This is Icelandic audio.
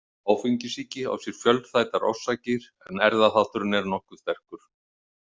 Áfengissýki á sér fjölþættar orsakir en erfðaþátturinn er nokkuð sterkur.